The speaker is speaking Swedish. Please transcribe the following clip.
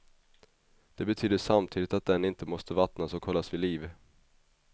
Det betyder samtidigt att den inte måste vattnas och hållas vid liv.